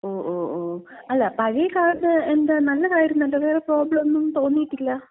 ഓ ഓ ഓ. അല്ല, പഴയ കാറിന് എന്താ? നല്ലതായിരുന്നല്ലോ. വേറെ പ്രോബ്ലോന്നും തോന്നീട്ടില്ല.